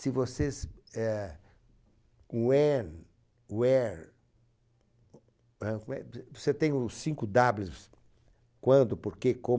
Se vocês, eh, when, where, eh, como é? Você tem os cinco dablius, quando, por que, como